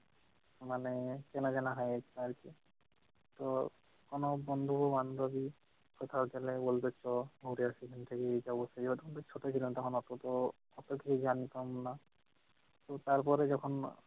মানে চেনা চেনা হয় আর কি। তো কোন বন্ধু বান্ধবী কোথাও গেলে বলে চ ঘুরে আসি এই যাব সেই যাব, তখন তো ছোট ছিলাম অতো তো অতকিছু জানতাম না। তারপরে যখন